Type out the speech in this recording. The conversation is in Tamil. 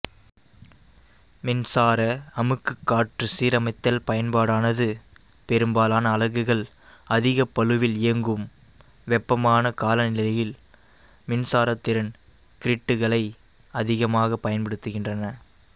மின்சாரஅமுக்கு காற்று சீரமைத்தல் பயன்பாடானது பெரும்பாலான அலகுகள் அதிகப்பளுவில் இயங்கும் வெப்பமான காலநிலையில் மின்சார திறன் கிரிட்டுகளை அதிகமாகப் பயன்படுத்துகின்றன